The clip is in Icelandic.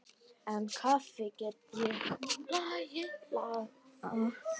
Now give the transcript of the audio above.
En kaffi get ég lagað.